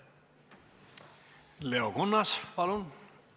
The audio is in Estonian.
Leo Kunnas, palun!